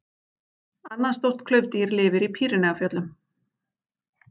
Annað stórt klaufdýr lifir í Pýreneafjöllum.